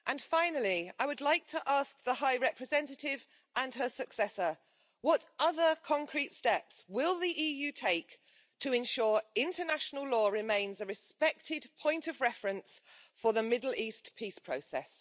Finally, I would like to ask the High Representative and her successor what other concrete steps will the EU take to ensure international law remains a respected point of reference for the Middle East peace process?